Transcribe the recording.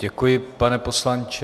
Děkuji, pane poslanče.